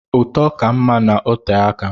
Ụtọ ka mma na ote aka.